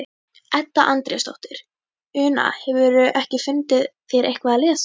Edda Andrésdóttir: Una, hefurðu ekki fundið þér eitthvað að lesa?